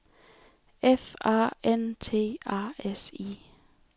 F A N T A S I